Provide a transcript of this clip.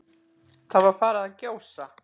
Það var farið að gjósa.